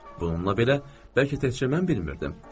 Bununla belə bəlkə təkcə mən bilmirdim.